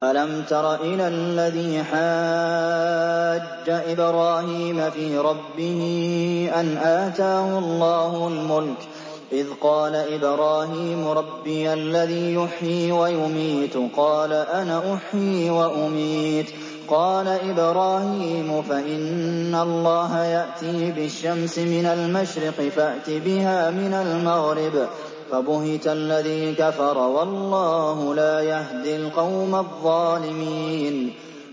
أَلَمْ تَرَ إِلَى الَّذِي حَاجَّ إِبْرَاهِيمَ فِي رَبِّهِ أَنْ آتَاهُ اللَّهُ الْمُلْكَ إِذْ قَالَ إِبْرَاهِيمُ رَبِّيَ الَّذِي يُحْيِي وَيُمِيتُ قَالَ أَنَا أُحْيِي وَأُمِيتُ ۖ قَالَ إِبْرَاهِيمُ فَإِنَّ اللَّهَ يَأْتِي بِالشَّمْسِ مِنَ الْمَشْرِقِ فَأْتِ بِهَا مِنَ الْمَغْرِبِ فَبُهِتَ الَّذِي كَفَرَ ۗ وَاللَّهُ لَا يَهْدِي الْقَوْمَ الظَّالِمِينَ